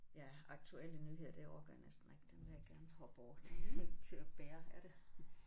Ja aktuelle nyheder det orker jeg næsten ikke den vil jeg gerne hoppe over det er ikke til at bære er det?